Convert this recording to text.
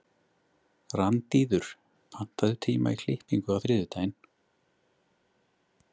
Randíður, pantaðu tíma í klippingu á þriðjudaginn.